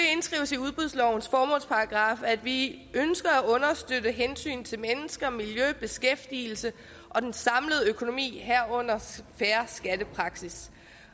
i udbudslovens formålsparagraf at vi ønsker at understøtte hensyn til mennesker miljø beskæftigelse og den samlede økonomi herunder en fair skattepraksis